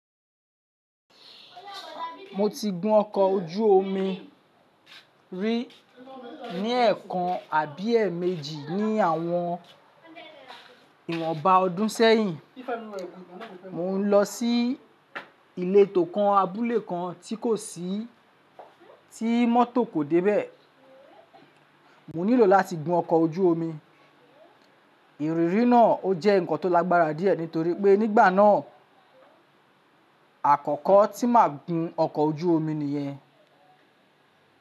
Moti gun ọkọ̀ o jú omi rí ní ẹ̀ẹ̀kan àbi ẹ̀ẹ̀mejì ni àwọn ìwọ̀nba odún ṣẹ́yìn. Mò ń lọ sí ilé tòkan abúlé kan tí kò sí, tí motor kò dé bẹ́ẹ̀, mo nílò láti gun ọkọ̀ ojú omi. Ìrírí náà ó jẹ́ nǹkan tó lágbára díẹ̀ nítorí pé nígbà náà àkọ́kọ́ tí màá gun ọkọ̀ ojú omi nìyẹn.